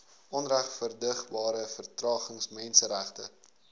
onregverdigbare vertragings menseregte